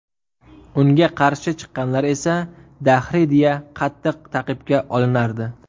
Unga qarshi chiqqanlar esa dahriy deya qattiq ta’qibga olinardi.